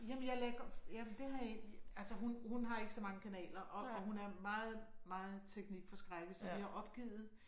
Jamen jeg lagde godt jamen det har jeg ikke altså hun hun har ikke så mange kanaler og og hun er meget meget teknikforskrækket så vi har opgivet